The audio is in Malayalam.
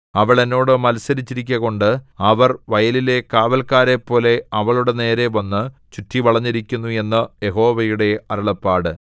അവൾ എന്നോട് മത്സരിച്ചിരിക്കുകകൊണ്ട് അവർ വയലിലെ കാവല്ക്കാരെപ്പോലെ അവളുടെ നേരെ വന്ന് ചുറ്റിവളഞ്ഞിരിക്കുന്നു എന്ന് യഹോവയുടെ അരുളപ്പാട്